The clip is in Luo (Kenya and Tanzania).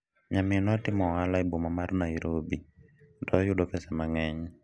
nyaminwa timo ohala e boma mar Nairobi to oyudo pesa mang'eny